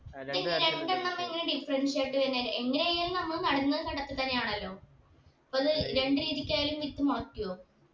ഈ രണ്ടെണ്ണം എങ്ങനെയാ difference ആയിട്ട് വരുന്നേ എങ്ങനെയായാലും നമ്മൾ നടുന്നത് കണ്ടത്തി തന്നെയാണല്ലോ അപ്പൊ അത് രണ്ട് രീതിക്കയാലു വിത്ത് മുളക്കൊ